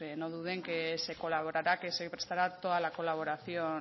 no duden que se colaborará que se prestará toda la colaboración